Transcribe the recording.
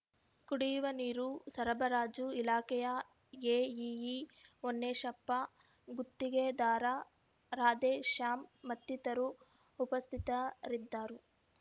ಕುಡಿಯುವ ನೀರು ಸರಬರಾಜು ಇಲಾಖೆಯ ಎಇಇ ಹೋನ್ನೇಶಪ್ಪ ಗುತ್ತಿಗೆದಾರ ರಾಧೇಶ್ಯಾಮ್ ಮತ್ತಿತರರು ಉಪಸ್ಥಿತರಿದ್ದರು